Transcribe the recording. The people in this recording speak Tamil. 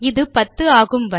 இது 10 ஆகும் வரை